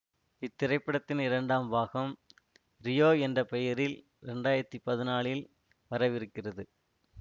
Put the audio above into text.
இத்திரைப்படத்தின் இரண்டாம் பாகம் ரியோ என்ற பெயரில் இரண்டு ஆயிரத்தி பதினாலில் வரவிருக்கிறது